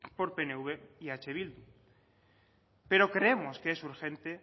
por pnv y eh bildu pero creemos que es urgente